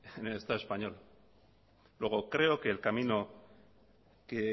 en el estado español luego creo que el camino que